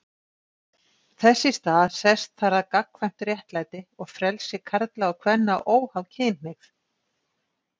Þess í stað sest þar að gagnkvæmt réttlæti og frelsi karla og kvenna óháð kynhneigð.